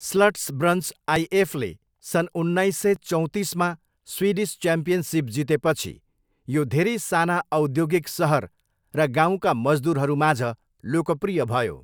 स्लट्सब्रन्स आइएफले सन् उन्नाइस सय चौँतिसमा स्विडिस च्याम्पियनसिप जितेपछि, यो धेरै साना औद्योगिक सहर र गाउँका मजदुरहरूमाझ लोकप्रिय भयो।